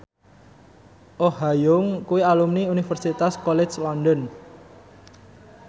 Oh Ha Young kuwi alumni Universitas College London